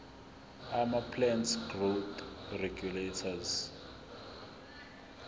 amaplant growth regulators